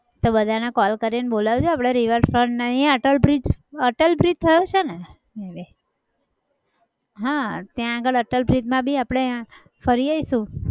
તો બધાને call કરીને બોલાવી લો આપણે river front અને અહીંયા અટલ bridge અટલ bridge થયો છે ને હા ત્યાં આગળ અટલ bridge માં બી આપણે ફરી આવીશું.